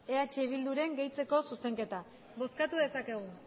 eh bilduren gehitzeko zuzenketa bozkatu dezakegu